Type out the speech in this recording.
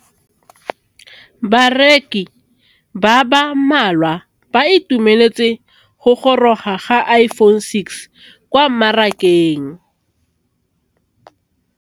Bareki ba ba malwa ba ituemeletse go gôrôga ga Iphone6 kwa mmarakeng.